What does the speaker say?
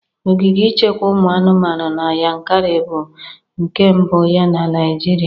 Ogige ichekwa ụmụ anụmanụ na Yankarị bụ nke mbụ ya na Nịajịrịa.